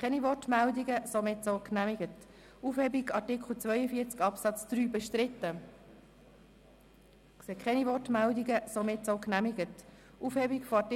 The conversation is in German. Den Kommissionspräsidenten, Grossrat Bichsel, haben wir bereits dazu gehört.